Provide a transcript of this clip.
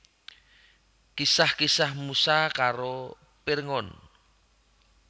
Kisah Kisah Musa karo Pirngon